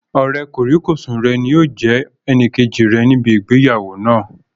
Ọ̀rẹ́ kòríkòsùn rẹ̀ ni yóò jẹ́ ẹnìkejì rẹ̀ ní ibi ìgbéyàwó náà